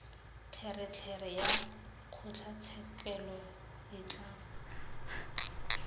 tlelereke ya kgotlatshekelo e tla